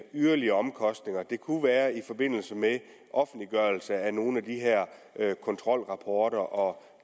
yderligere omkostninger det kunne være i forbindelse med offentliggørelse af nogle af de her kontrolrapporter og